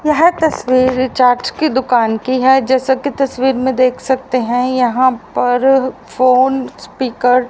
यह तस्वीर रिचार्ज की दुकान की है जैसा की तस्वीर में देख सकते हैं यहां पर फोन स्पीकर --